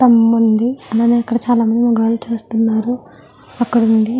స్తంభం ఉంది. అలాగే ఇక్కడ కొంతమంది గోల చేస్తున్నారు. అక్కడ నుండి --